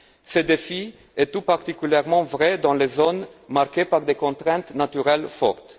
Ce défi est tout particulièrement vrai dans les zones marquées par des contraintes naturelles fortes.